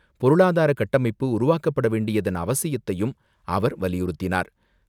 பொருளாதார கட்டமைப்பு உருவாக்கப்படவேண்டியதன் அவசியத்தையும் அவர் வலியுறுத்தினார்.